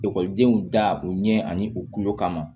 Ekɔlidenw da o ɲɛ ani u kulo kama